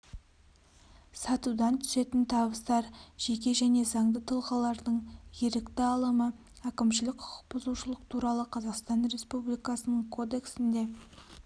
сатудан түсетін табыстар жеке және заңды тұлғалардың ерікті алымы әкімшілік құқықбұзушылық туралы қазақстан республикасының кодексінде